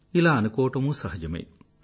ఇలా అనుకోవడమూ సహజమే